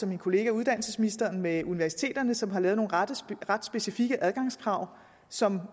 min kollega uddannelsesministeren med universiteterne som har lavet nogle ret ret specifikke adgangskrav som